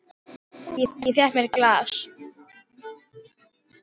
Ég fékk mér glas.